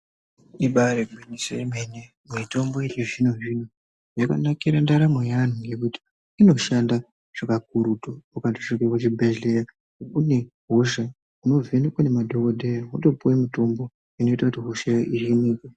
Ibaari gwinyiso yemene, mitombo yechizvino-zvino yakanakira ndaramo yeanhu ngekuti inoshanda zvekakurutu, ukandosvike kuchibhadhlera une hosha unovhenekwa nemadhokodheya wotopuwe mitombo inoite kuti hoshayo iringirwe.